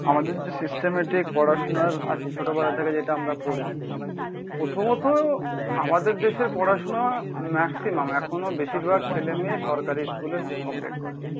আমাদের যে সিস্টেম্যাটিক পড়াশুনা আছে, ছোটবেলা থেকে যেটা আমরা পড়ি। প্রথমত আমাদের দেশের পড়াশুনা ম্যাক্সিমাম এখনো বেশির ভাগ ছেলে মেয়ে সরকারি স্কুলে কমপ্লিট করে।